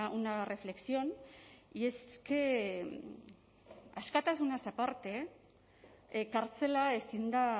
una reflexión y es que askatasunaz aparte kartzela ezin da